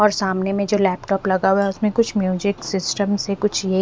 और सामने में जो लैपटॉप लगा हुआ है उसमें कुछ म्यूजिक सिस्टम से कुछ ये--